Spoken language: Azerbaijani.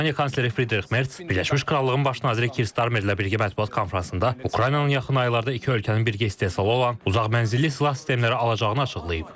Almaniya kansleri Friderix Merz Birləşmiş Krallığın Baş naziri Kis Darmerlə birgə mətbuat konfransında Ukraynanın yaxın aylarda iki ölkənin birgə istehsalı olan uzaq mənzilli silah sistemləri alacağını açıqlayıb.